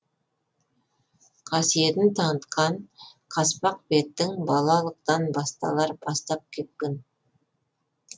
қасиетін танытқан қаспақ беттің балалықтан басталар бастапқы екпін